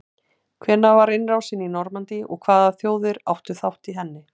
hvenær var innrásin í normandí og hvaða þjóðir áttu þátt í henni